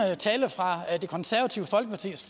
tale fra det konservative folkepartis